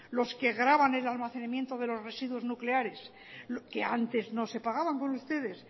los que graban el almacenamiento de los residuos nucleares que antes no se pagaban con ustedes